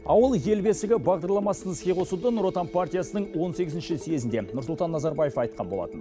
ауыл ел бесігі бағдарламасын іске қосуды нұр отан партиясының он сегізінші съезінде нұрсұлтан назарбаев айтқан болатын